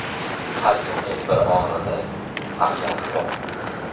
Har kimning bir og‘rig‘i, armoni bor.